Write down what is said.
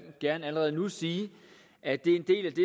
gerne allerede nu sige at det er en del af det